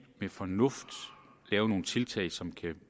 med fornuft gøre nogle tiltag som kan